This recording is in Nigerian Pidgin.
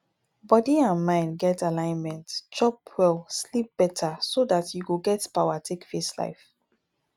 body and mind get alignment chop well sleep better so dat you go get power take face life